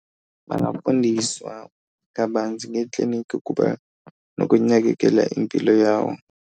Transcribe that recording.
Bangafundiswa kabanzi ngeekliniki ukuba nokunakekela impilo yawo.